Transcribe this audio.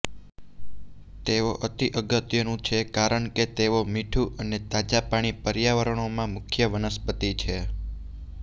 તેઓ અતિ અગત્યનું છે કારણ કે તેઓ મીઠું અને તાજા પાણી પર્યાવરણોમાં મુખ્ય વનસ્પતિ છે